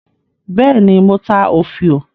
Bẹ́ẹ̀ ni, mo ta òfiò.